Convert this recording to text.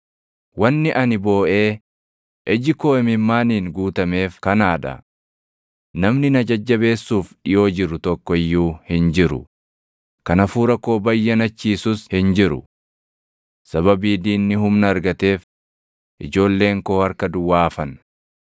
“Wanni ani booʼee iji koo imimmaaniin guutameef kanaa dha. Namni na jajjabeessuuf dhiʼoo jiru tokko iyyuu hin jiru; kan hafuura koo bayyanachiisus hin jiru. Sababii diinni humna argateef ijoolleen koo harka duwwaa hafan.”